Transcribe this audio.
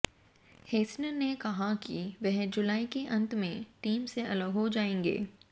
हेसन ने कहा है कि वह जुलाई के अंत में टीम से अलग हो जाएंगे